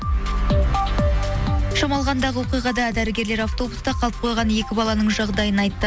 шамалғандағы оқиғада дәрігерлер автобуста қалып қойған екі баланың жағдайын айтты